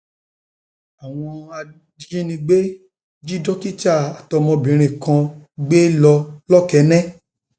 àwọn ajínigbé um jí dókítà àtọmọbìnrin kan um kan um gbé lọ lọkẹhẹ